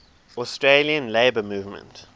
australian labour movement